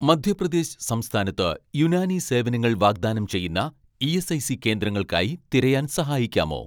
മധ്യപ്രദേശ് സംസ്ഥാനത്ത് യുനാനി സേവനങ്ങൾ വാഗ്ദാനം ചെയ്യുന്ന ഇ.എസ്.ഐ.സി കേന്ദ്രങ്ങൾക്കായി തിരയാൻ സഹായിക്കാമോ